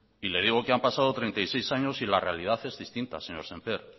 y le digo que han pasado treinta y seis años y la realidad es distinta señor sémper